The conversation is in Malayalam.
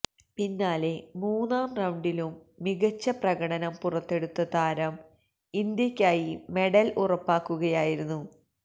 പിന്നാലെ മൂന്നാം റൌണ്ടിലും മികച്ച പ്രകടനം പുറത്തെടുത്ത താരം ഇന്ത്യയ്ക്കായി മെഡല് ഉറപ്പാക്കുകയായിരുന്നു